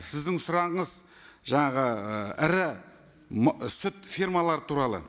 сіздің сұрағыңыз жаңағы ы ірі сүт фермалары туралы